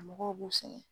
Mɔgɔw b'u sɛgɛn